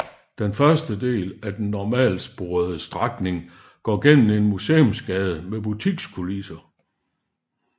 Den første del af den normalsporede strækning går gennem en museumsgade med butikskulisser